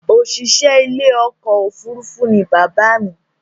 Òṣìṣẹ́ ilé iṣẹ́ ọkọ̀ òfurufú ní bàbá mi